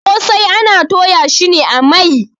kosai ana Toya shi a Mai